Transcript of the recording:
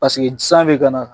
Paseke d san bɛ kana